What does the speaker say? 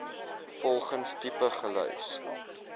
volgens tipe gelys